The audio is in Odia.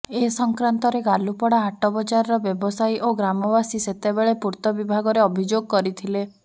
ଏ ସଂକ୍ରାନ୍ତରେ ଗାଲୁପଡା ହାଟବଜାରର ବ୍ୟବସାୟୀ ଓ ଗ୍ରାମବାସୀ ସେତେବେଳେ ପୂର୍ତ୍ତବିଭାଗରେ ଅଭିଯୋଗ କରିଥିଲେ